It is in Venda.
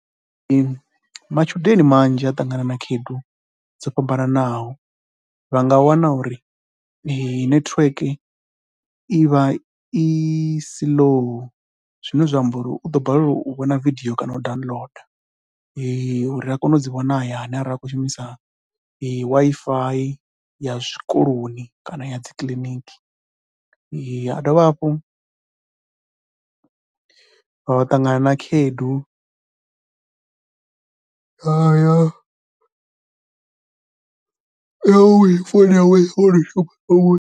Matshudeni manzhi a ṱangana na khaedu dzo fhambanaho vha nga wana ur netiweke i vha i slow zwine zwa amba uri u ḓo balelwa u vhona vidio kana u downloader uri a kone u dzi vhona a hayani arali a tshi khou shumisa Wi-Fi ya zwikoloni kana ya dzi kiḽiniki. A dovha hafhu wa ṱangana na khaedu ya uri founu yawe a i .